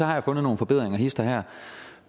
har jeg fundet nogle forbedringer hist og her